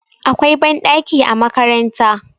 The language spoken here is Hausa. akwai banɗaki a makaranta